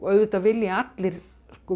auðvitað vilja allir